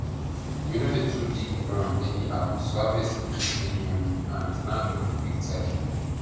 we no dey too dig ground anyhow so harvest go fit bring money and land no go quick tire